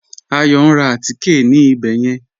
Ayọ̀ n rá àtíkẹ̀ ní ìbẹ̀ yẹn